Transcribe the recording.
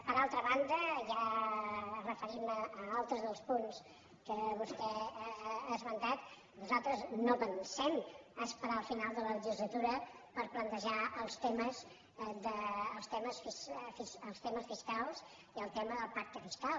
per altra banda ja referint me a altres dels punts que vostè ha esmentat nosaltres no pensem esperar el final de la legislatura per plantejar els temes fiscals i el tema del pacte fiscal